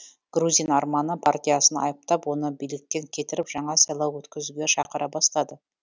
грузин арманы партиясын айыптап оны биліктен кетіріп жаңа сайлау өткізуге шақыра бастады